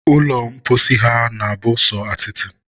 ụlọ mposi ha na-abụ sọ atịtị